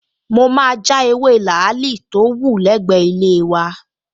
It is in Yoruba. Mo máa ja ewé làálì tó wù lẹ́gbẹ̀ẹ́ ilé wa